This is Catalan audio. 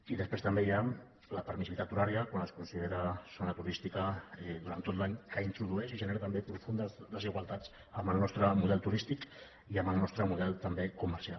i després també hi ha la permissivitat horària quan es considera zona turística durant tot l’any que introdueix i genera també profundes desigualtats amb el nostre model turístic i amb el nostre model també comercial